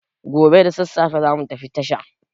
Gobe da sassafe za mu tafi tasha.